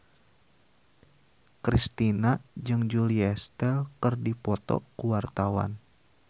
Kristina jeung Julia Stiles keur dipoto ku wartawan